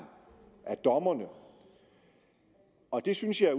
af dommerne det synes jeg er